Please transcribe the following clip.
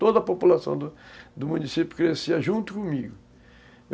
Toda a população do do município crescia junto comigo.